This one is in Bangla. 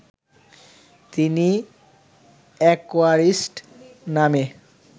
তিনি অ্যাকোয়ারিস্ট নামে